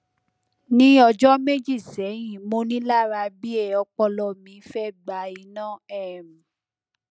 ni ọjọ meji sẹhin monilara bi e ọpọlọ mi fe gba ina um